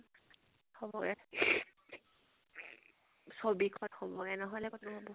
চবৰে ছ্ৱি খিন হবগে, নহলে কতনো হব?